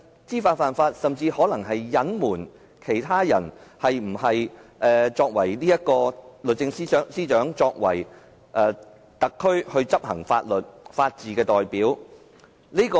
知法犯法，甚至可能隱瞞本身違法行為的人是否適合擔任律政司司長，代表特區執行法律、維護法治？